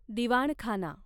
दिवाणखाना